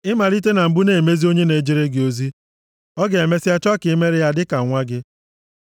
Ị malite na mbụ na-emezi onye na-ejere gị ozi, ọ ga-emesịa chọọ ka i meere ya dịka nwa gị.